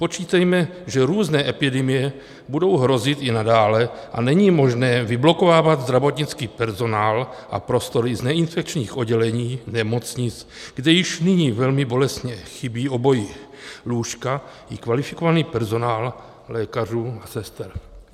Počítejme, že různé epidemie budou hrozit i nadále, a není možné vyblokovávat zdravotnický personál a prostory z neinfekčních oddělení nemocnic, kde již nyní velmi bolestně chybí obojí, lůžka i kvalifikovaný personál lékařů a sester.